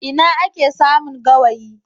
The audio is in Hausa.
Ina ake samun gawayi?